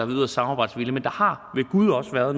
yderst samarbejdsvillige men der har ved gud også været